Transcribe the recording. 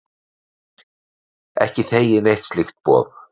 Heimir: Ekki þegið neitt slíkt boð?